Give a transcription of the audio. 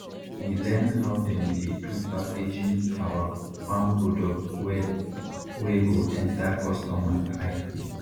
we learn how dem dey do packaging awa farm product well wey go enter customer eye